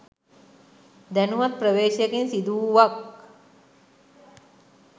දැනුවත් ප්‍රවේශයකින් සිදුවූවක්